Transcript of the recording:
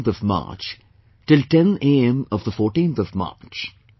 on the 10th of March, till 10 am of the 14th of March